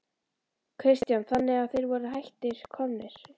Kristján: Þannig að þeir voru hætt komnir?